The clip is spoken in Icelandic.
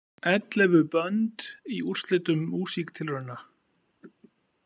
Ellefu bönd í úrslitum Músíktilrauna